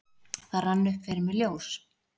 Það rann upp fyrir mér ljós: